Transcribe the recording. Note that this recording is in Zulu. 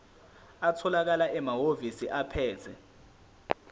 atholakala emahhovisi abaphethe